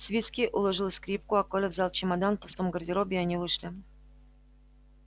свицкий уложил скрипку а коля взял чемодан в пустом гардеробе и они вышли